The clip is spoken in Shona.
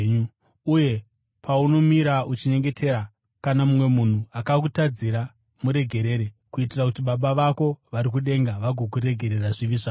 Uye paunomira uchinyengetera, kana mumwe munhu akakutadzira, muregerere, kuitira kuti Baba vako vari kudenga vagokuregerera zvivi zvako.